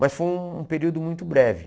Mas foi um período muito breve.